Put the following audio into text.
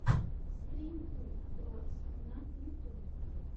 стрим ту дротс на ютюбе